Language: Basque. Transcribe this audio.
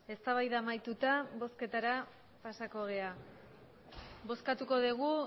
eztabaida amaituta bozketara pasako gara bozkatuko dugu